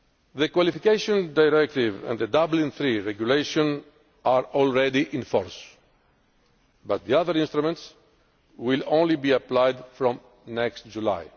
The Qualification Directive and the Dublin III Regulation are already in force, but the other instruments will only be applied from next July.